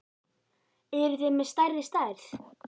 Eruð þið með stærri stærð?